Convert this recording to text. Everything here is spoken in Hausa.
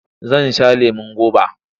Zan sha lemon goba.